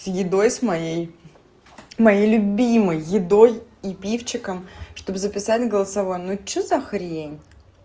с едой с моей моей любимой едой и пивчиком чтобы записать голосовое ну что за хрень